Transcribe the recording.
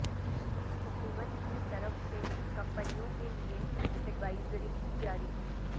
حکومت کی طرف سے کمپنیوں کے لئے ایڈوائزری جاری